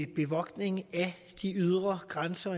bevogtning af de ydre grænser